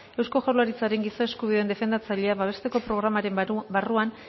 eusko jaurlaritzaren giza eskubideen defendatzailea babestearen programaren barruan